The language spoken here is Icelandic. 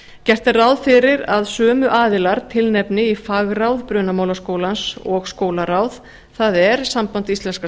gert er ráð fyrir að sömu aðilar tilnefni í fagráð brunamálaskólans og skólaráð það er samband íslenskra